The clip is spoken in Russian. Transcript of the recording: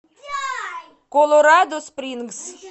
колорадо спрингс